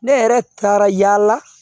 Ne yɛrɛ taara yaala